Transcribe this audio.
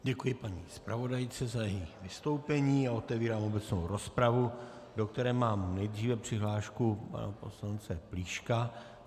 Děkuji paní zpravodajce za její vystoupení a otevírám obecnou rozpravu, do které mám nejdříve přihlášku pana poslance Plíška.